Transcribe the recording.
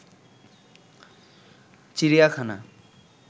চিড়িয়াখানা